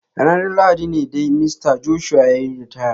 Ranar Lahadi ne dai Mista Joshua ya yi ritaya.